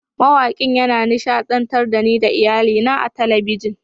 Mawakin yana nishadantar da ni da iyalina a talabijin.